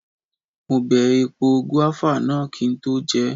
Mo bẹ epo gùáfà náà kí n tó jeẹ̀